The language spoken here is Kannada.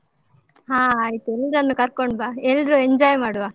ಹಾ ಆಯ್ತು, ಎಲ್ರನ್ನೂ ಕರ್ಕೊಂಡು ಬಾ. ಎಲ್ರು enjoy ಮಾಡುವ.